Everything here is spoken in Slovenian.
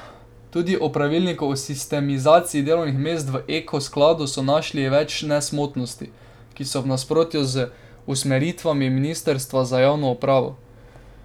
Tudi v pravilniku o sistemizaciji delovnih mest v Eko skladu so našli več nesmotrnosti, ki so v nasprotju z usmeritvami ministrstva za javno upravo.